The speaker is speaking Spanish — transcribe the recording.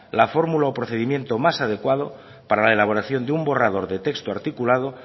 la formula o procedimiento más adecuado para la elaboración de un borrador de texto articulado